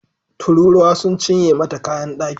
Tururuwa sun cinye mata kayan daki